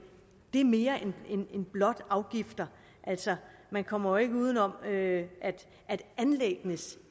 er mere end blot afgifter altså man kommer jo ikke uden om at anlæggenes